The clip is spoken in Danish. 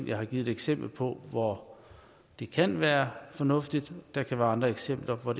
jeg har givet et eksempel på hvor det kan være fornuftigt og der kan være andre eksempler på